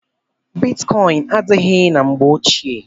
Bitkọin adịghị na mgbe ochie.